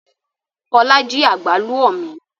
Fọlá jí àgbálù ọ́ mi.